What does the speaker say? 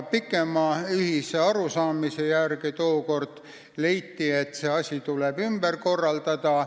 Pikema ühise arutelu järel leiti tookord, et see asi tuleb ümber korraldada.